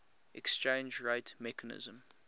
exchange rate mechanism